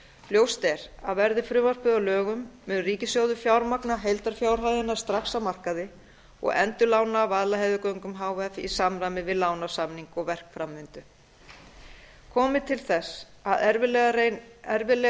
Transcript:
ljóst er að verði frumvarpið að lögum mun ríkissjóður fjármagna heildarfjárhæðina strax á markaði og endurlána vaðlaheiðargöngum h f í samræmi við lánasamning og verkframvindu komi til þess að erfiðlega